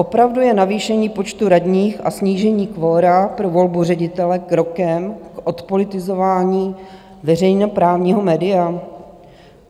Opravdu je navýšení počtu radních a snížení kvora pro volbu ředitele krokem k odpolitizování veřejnoprávního média?